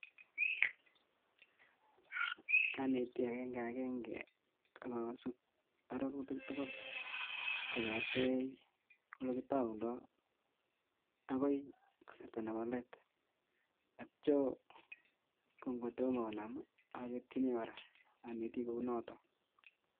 Anetii akeng'akeng'e akosub ororutik tukul kong''etei olekitoundo akoi kasarta nebo leet akityo ko ng'otomo konam oketyini kora onetii kounoton.